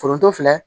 Foronto filɛ